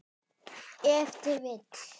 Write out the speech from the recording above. Ef til vill!